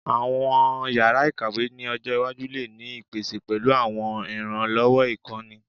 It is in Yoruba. Awọn yara ikawe ni ojo iwaju le ni ipese pẹlu awọn iranlọwọ ikọni